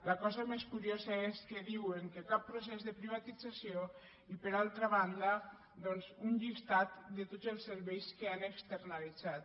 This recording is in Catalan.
la cosa més curiosa és que diuen que cap procés de privatització i per altra banda doncs un llistat de tots els serveis que han externalitzat